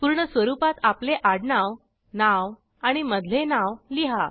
पूर्ण स्वरूपात आपले आडनाव नाव आणि मधले नाव लिहा